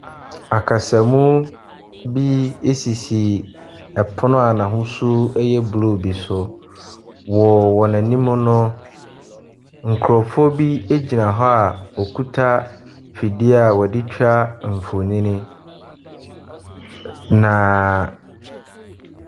Akasamuu bi esisi ɛpono a n'ahosuo ɛyɛ blue bi so. Wɔ wɔn anim no, nkorɔfoɔ bi egyina hɔ a ɔkuta ɛfidie a ɔdetwa nfonii naa.